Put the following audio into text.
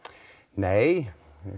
nei